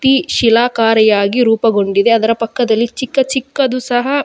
ತೀ ಶಿಲಾಕಾರಿಯಾಗಿ ರೂಪಗೊಂಡಿದೆ ಅದರ ಪಕ್ಕದಲ್ಲಿ ಚಿಕ್ಕ ಚಿಕ್ಕದು ಸಹ.